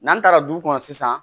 N'an taara du kɔnɔ sisan